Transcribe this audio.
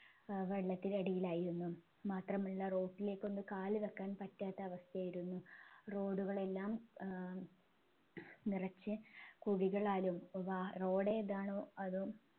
ഏർ വെള്ളത്തിനടിയിലായിരുന്നു മാത്രമല്ല road ലേക്ക് ഒന്ന് കാൽവെക്കാൻ പറ്റാത്ത അവസ്ഥയായിരുന്നു road ഉകളെല്ലാം ഏർ നിറച്ച് കുഴികളാലും വാ road ഏതാണോ അതോ